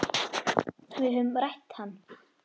Við höfðum rætt hann.